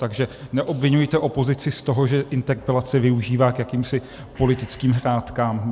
Takže neobviňujte opozici z toho, že interpelace využívá k jakýmsi politickým hrátkám.